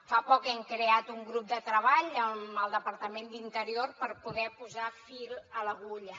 fa poc hem creat un grup de treball amb el departament d’interior per poder posar fil a l’agulla